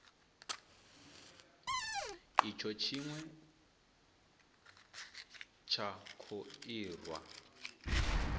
itsho tshine tsha kho irwa